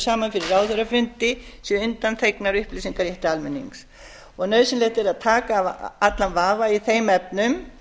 saman fyrir ráðherrafundi séu undanþegnar upplýsingarétti almennings nauðsynlegt er að taka af allan vafa í þeim efnum